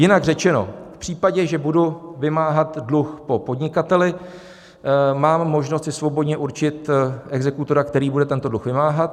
Jinak řečeno, v případě, že budu vymáhat dluh po podnikateli, mám možnost si svobodně určit exekutora, který bude tento dluh vymáhat.